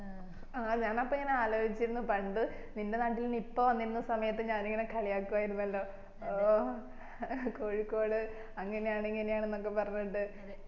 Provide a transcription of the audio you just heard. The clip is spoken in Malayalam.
ആ ഞാനപ്പോ ഇങ്ങന ആലോചിച്ചിരുന്നു പണ്ട് നിന്റെ നാട്ടീൽ നിപ്പ വന്നിരുന്ന സമയത് ഞാൻ ഇങ്ങനെ കളിയാക്കുവായിരുന്നല്ലോ ഓ കോയിക്കോട് അങ്ങനെ ആണ് ഇങ്ങനെ ആണ് എന്നൊക്കെ പറഞ്ഞിട്ട്